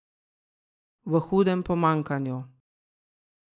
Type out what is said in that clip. V hudem pomanjkanju.